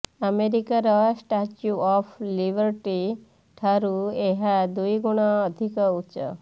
ଆମେରିକାର Statue of Liberty ଠାରୁ ଏହା ଦୁଇଗୁଣ ଅଧିକ ଉଚ୍ଚ